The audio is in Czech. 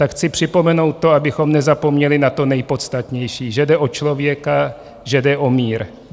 Tak chci připomenout to, abychom nezapomněli na to nejpodstatnější: že jde o člověka, že jde o mír.